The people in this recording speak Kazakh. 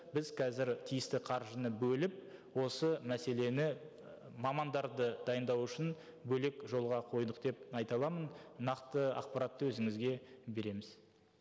біз қазір тиісті қаржыны бөліп осы мәселені і мамандарды дайындау үшін бөлек жолға қойдық деп айта аламын нақты ақпаратты өзіңізге береміз